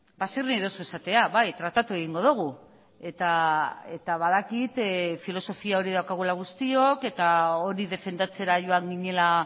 ba zer nahi duzu esatea bai tratatu egingo dugu eta badakit filosofia hori daukagula guztiok eta hori defendatzera joan ginela